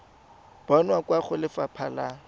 bonwa kwa go lefapha la